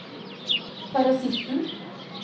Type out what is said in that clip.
parasitten